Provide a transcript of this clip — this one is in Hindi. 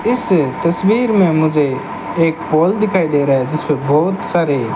इस तस्वीर में मुझे एक पोल दिखाई दे रहा है जिसपे बहोत सारे--